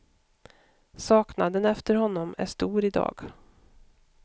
Saknaden efter honom är stor i dag.